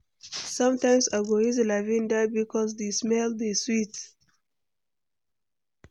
Sometimes I go use lavinda bikos di smell dey sweet.